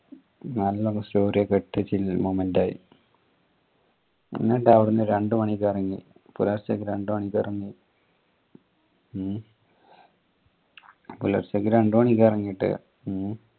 നല്ല story ഒക്കെ ഇട്ട് chill moment ആയി എന്നിട്ട് അവിടുന്ന് രണ്ടുമണിക്ക് ഇറങ്ങി പുലർച്ചെ രണ്ടുമണിക്ക് ഇറങ്ങി പുലർച്ചക്ക് രണ്ടുമണിക്ക് ഇറങ്ങിയിട്ട് ഉം